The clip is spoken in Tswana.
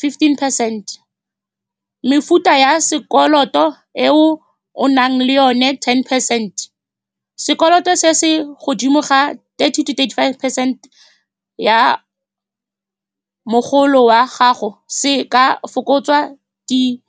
fifteen percent, mefuta ya sekoloto eo o nang le yone ten percent. Sekoloto se se godimo thata, thirty to thirty-five percent ya mogolo wa gago, se ka fokotswa di .